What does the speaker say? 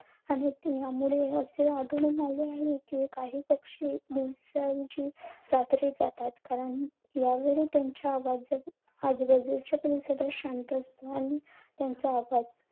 आणि यामुळे असे आढळून आले आहे. कि, काही पक्षी दिवसाऐवजी रात्री जातात. कारण यावेळी त्यांच्या आवाजात आजूबाजूचा परिसर शांत असतो. आणि त्यांचा आवाज